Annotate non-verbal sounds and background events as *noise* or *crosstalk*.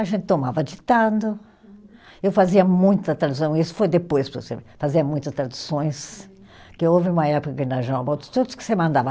A gente tomava ditado, eu fazia muita tradução, isso foi depois, *unintelligible* fazia muitas traduções, que houve uma época aqui na General Motors, tudo que você mandava.